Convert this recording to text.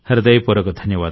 హృదయపూర్వక